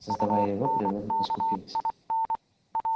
создавая его природа поскупилась